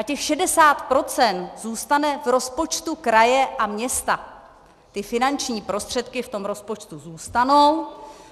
A těch 60 % zůstane v rozpočtu kraje a města, ty finanční prostředky v tom rozpočtu zůstanou